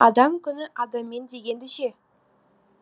адам күні адаммен дегенді ше